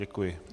Děkuji.